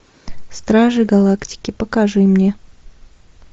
стражи галактики покажи мне